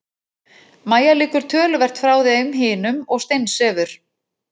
Mæja liggur töluvert frá þeim hinum og steinsefur.